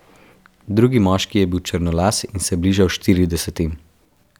Drugi moški je bil črnolas in se je bližal štiridesetim.